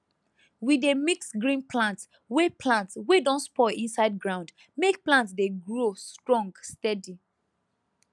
we dey mix green plant wey plant wey don spoil inside ground make plant dey grow strong steady